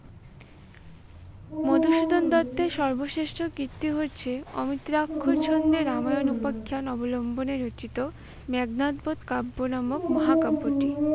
মধুসূদন দত্তের সর্বশ্রেষ্ঠ কীর্তি হচ্ছে অমিত্রাক্ষর ছন্দে রামায়ণ উপাখ্যান অবলম্বনে রচিত মেঘনাদ বধ কাব্য নামক মহা কাব্যটি।